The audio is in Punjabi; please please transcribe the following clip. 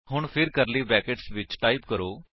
ਹੁਣ ਫਿਰ ਕਰਲੀ ਬਰੈਕੇਟਸ ਵਿੱਚ ਟਾਈਪ ਕਰੋ